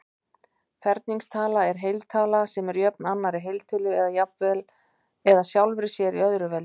Ferningstala er heiltala sem er jöfn annarri heiltölu eða sjálfri sér í öðru veldi.